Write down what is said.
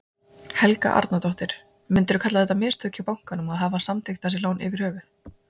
Helga Arnardóttir: Myndirðu kalla þetta mistök hjá bankanum að hafa samþykkt þessi lán yfir höfuð?